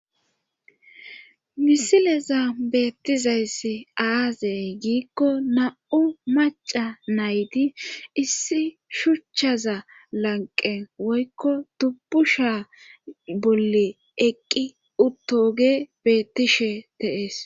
misileza beettizayssi aazey giikko na7u maca naydi issi shuchchaza lanqe woykko dubbusha bolle eqqi uttoge bettishe dees